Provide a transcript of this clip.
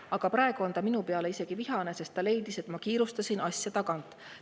Aga praegu on ta minu peale isegi vihane, sest ta leidis, et ma kiirustasin asja tagant.